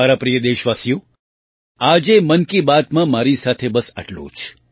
મારા પ્રિય દેશવાસીઓ આજે મન કી બાતમાં મારી સાથે બસ આટલું જ